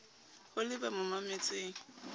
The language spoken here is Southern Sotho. ho le ba mo mametseng